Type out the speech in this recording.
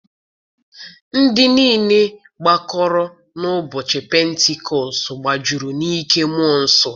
Ndị niile gbakọrọ n'ụbọchị pentikọst die gbajuru n'ike mmụọ nsọ.